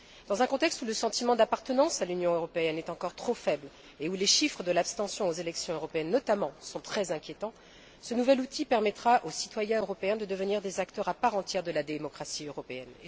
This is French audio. Dans un contexte où le sentiment d'appartenance à l'Union européenne est encore trop faible et où les chiffres de l'abstention aux élections européennes, notamment, sont très inquiétants, ce nouvel outil permettra aux citoyens européens de devenir des acteurs à part entière de la démocratie européenne.